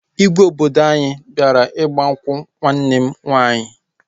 Igwe obodo anyị bịara ịgba nkwụ nwanne m nwaanyị